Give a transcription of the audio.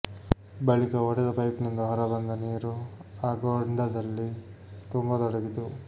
ಬಳಿಕ ಒಡೆದ ಪೈಪ್ನಿಂದ ಹೊರ ಬಂದ ನೀರು ಆ ಗೊಂಡದಲ್ಲಿ ತುಂಬತೊಡಗಿತು